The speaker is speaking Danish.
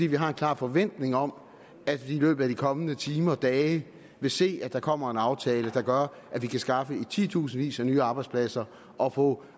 vi har en klar forventning om at vi i løbet af de kommende timer eller dage vil se at der kommer en aftale der gør at vi kan skaffe i titusindvis af nye arbejdspladser og få